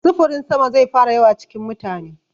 Sufurin sama zai fara yawa cikin mutane.